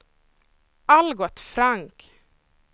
Algot Frank